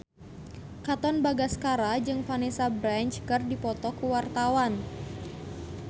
Katon Bagaskara jeung Vanessa Branch keur dipoto ku wartawan